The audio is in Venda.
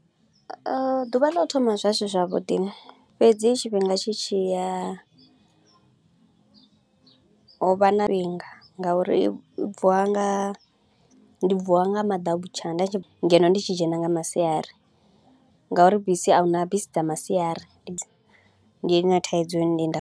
Ḓuvha ḽa u thoma zwa zwi zwavhuḓi, fhedzi tshifhinga tshi tshi ya ho vha na vhinga, nga uri u bvuwa nga u bvuwa nga madautsha nda tshi ngeno ndi tshi dzhena nga masiari nga uri bisi a hu na bisi dza masiari ndi yone thaidzo ndi nda .